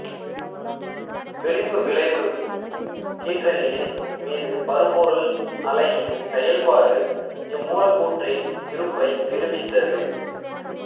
விளிம்பு விளைவு கீற்றணியின் மீது பருப்பொருள் அலையின் செயல்பாடு இம்மூலக்கூற்றின் இருப்பை நிருபித்தது